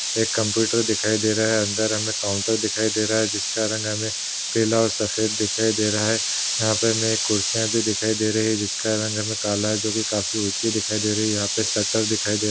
एक कम्प्युटर दिखाई दे रहा है। अंदर हमे काउंटर दिखाई दे रहा है जिसका रंग हमे पीला और सफेद दिखाई दे रहा है। यहा पर हमे कुर्सिया भी दिखाई दे रही है जिसका रंग हमे काला है जोकि काफी उची दिखाई दे रही है यहा पे शटर दिखाई दे रहा है --